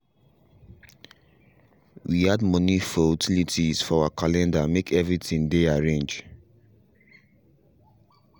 we add money for utilities for our calendar make every thing dey arrange